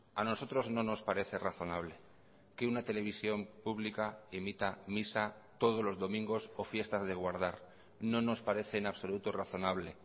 a nosotros no nos parece razonable que una televisión pública emita misa todos los domingos o fiestas de guardar no nos parece en absoluto razonable